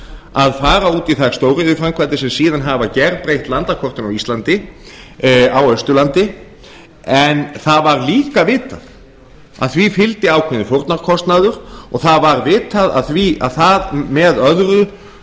að fara út í þær stóriðjuframkvæmdir sem síðan hafa gerbreytt landakortinu á íslandi á austurlandi en það var líka vitað að því fylgdi ákveðinn fórnarkostnaður og það var vitað að það með öðru